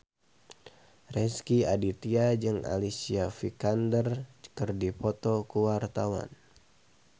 Rezky Aditya jeung Alicia Vikander keur dipoto ku wartawan